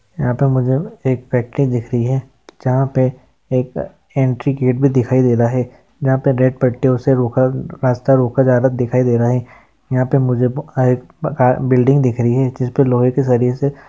यहाँ पर मुझे एक फॅक्टरी दिख रही है जहा पे एक एंट्री गेट भी दिखाई दे रहा है जहा पे रेड पट्टियों से रोका रास्ता रोका ज्यादा दिखाई दे रहा है यहाँ पे मुझे ब हा एक बिल्डिंग दिख रही है जिसपे लोहे की जरिये से--